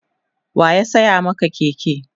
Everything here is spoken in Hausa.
waya saya Maka Keke?